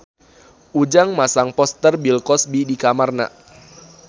Ujang masang poster Bill Cosby di kamarna